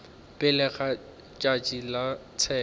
pele ga tšatši la tsheko